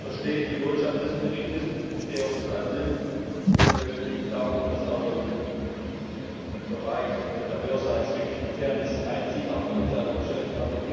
Ich verstehe die Botschaft des Berichts und ich verstehe auch das Ansinnen Es geht letztendlich darum, dass im Bereich der Börse ein Stückchen Fairness einzieht, auch bei Insider Geschäften.